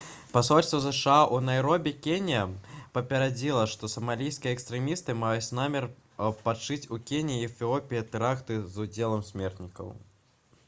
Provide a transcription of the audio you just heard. пасольства зша ў найробі кенія папярэдзіла што «самалійскія экстрэмісты» маюць намер пачаць у кеніі і эфіопіі тэракты з удзелам смертнікаў